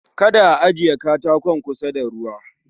Kada a ajiye katakon kusa da ruwa